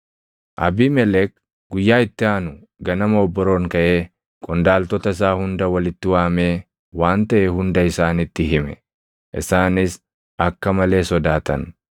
Abiimelek guyyaa itti aanu ganama obboroon kaʼee qondaaltota isaa hunda walitti waamee waan taʼe hunda isaanitti hime; isaanis akka malee sodaatan.